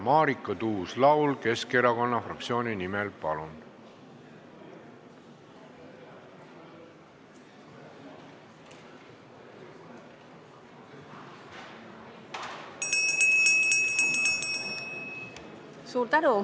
Marika Tuus-Laul Keskerakonna fraktsiooni nimel, palun!